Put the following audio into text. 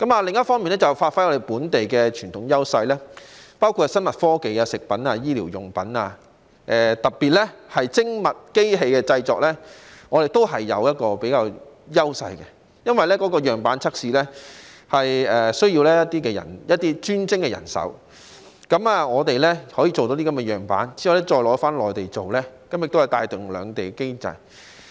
另一方面，便是要發揮本地的傳統優勢，包括在生物科技、食品、醫療用品，以及特別是精密機器的製作方面，我們是具有優勢的，因為樣板測試需要一些專精的人手，我們可以製成樣板，然後再到內地製作，從而帶動兩地經濟。